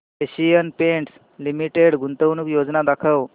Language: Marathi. एशियन पेंट्स लिमिटेड गुंतवणूक योजना दाखव